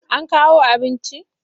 An kawo abinci?